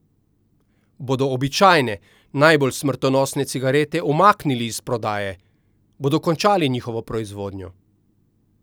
Bodo običajne, najbolj smrtonosne cigarete umaknili iz prodaje, bodo končali njihovo proizvodnjo?